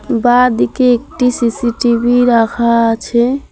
বাঁদিকে একটি সি_সি_টি_ভি রাখা আছে।